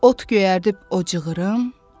Ot göyərdib o cığırım, o izim.